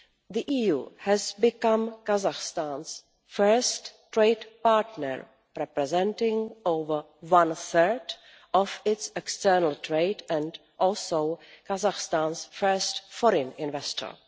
The EU has become Kazakhstan's first trade partner, representing over one third of its external trade, and also Kazakhstan's first foreign investor.